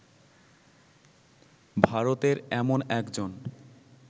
ভারতের এমন একজন